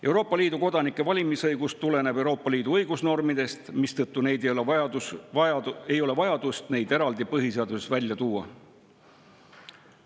Euroopa Liidu kodanike valimisõigus tuleneb Euroopa Liidu õigusnormidest, mistõttu ei ole vaja neid põhiseaduses eraldi välja tuua.